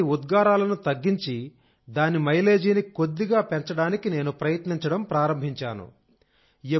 కాబట్టి ఉద్గారాలను తగ్గించి దాని మైలేజీని కొద్దిగా పెంచడానికినేను ప్రయత్నించడం ప్రారంభించాను